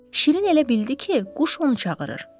Şirin elə bildi ki, quş onu çağırır.